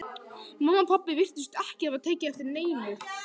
Mamma og pabbi virtust ekki hafa tekið eftir neinu.